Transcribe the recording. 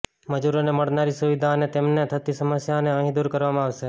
મજૂરોને મળનારી સુવિધા અને તેમને થતી સમસ્યાને અહીં દૂર કરવામાં આવશે